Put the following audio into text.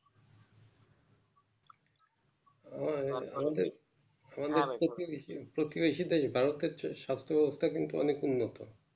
আহ আমাদের প্রতি প্রতিবেশী দেশ ভারতের চেয়ে সাস্থ ব্যবস্থা কিন্তু অনেক উন্নত